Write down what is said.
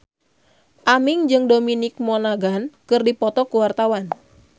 Aming jeung Dominic Monaghan keur dipoto ku wartawan